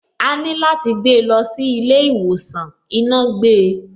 Àní láti gbé lọ sí ilé ìwòsàn, iná gbe.